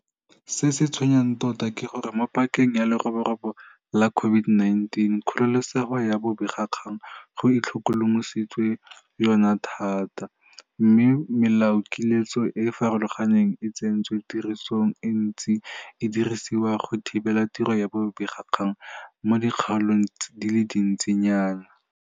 Se se tshwenyang tota ke gore mo pakeng ya leroborobo la COVID-19 kgololesego ya bobegakgang go itlhokomolositswe yona thata, mme melaokiletso e e farologaneng e e tsentsweng tirisong e ntse e dirisiwa go thibela tiro ya bobegakgang mo dikgaolong di le dintsi nyana.